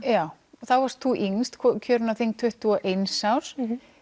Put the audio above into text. þá varst þú yngst kjörin á þing tuttugu og eins árs